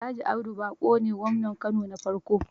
Alh. Audu Baƙo ne gwamnan Kano na farko